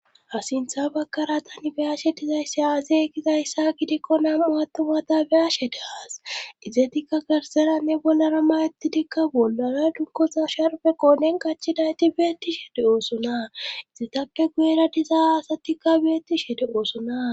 Ha sintha bagara ta beyashe dizaysse aaze gizayssa gidikko nam7u atumata beyashe de aas izetikka garsenanne bollara mayettidikka bollara dunkosa sherbe qoonen kachinayti beetti shede oosona izitakke guyera dizaa asatikka beettishe de'oosona.